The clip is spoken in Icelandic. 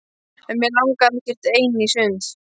En mig langaði ekkert ein í sund.